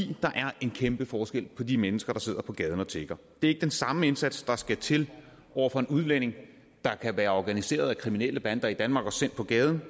er en kæmpe forskel på de mennesker der sidder på gaden og tigger det ikke den samme indsats der skal til over for en udlænding der kan være organiseret af kriminelle bander i danmark og sendt på gaden